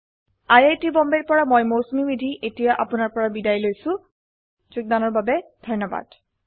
I I T Bombay ৰ পৰা মই মৌচুমী মেধী এতিয়া আপুনাৰ পৰা বিদায় লৈছো যোগদানৰ বাবে ধন্যবাদ